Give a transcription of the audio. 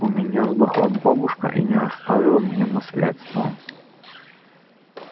у меня сдохла бабушка и не оставила мне наследство